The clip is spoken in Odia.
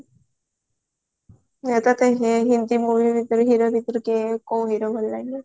ତତେ ହିନ୍ଦୀ movie ଭିତରେ hero ଭିତରେ କିଏ କୋଉ hero ଭଲ ଲାଗେ